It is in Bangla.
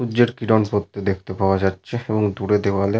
সূর্যের কিরণ পড়তে দেখতে পাওয়া যাচ্ছে এবং দূরে দেওয়ালে।